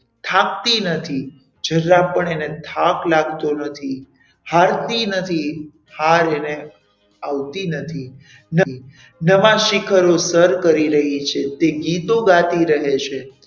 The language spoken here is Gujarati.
થાકતી નથી જરા પણ એને થાક લાગતો નથી હાલતી નથી હાર એને આવતી નથી નવા શિખરો સર કરી રહી છે તે ગીતો ગાતી રહે છે.